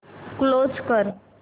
close कर